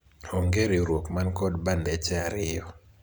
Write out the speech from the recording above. onge riwruok man kod bandeche ariyo